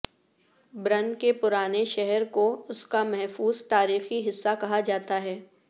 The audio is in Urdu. برن کے پرانے شہر کو اس کا محفوظ تاریخی حصہ کہا جاتا ہے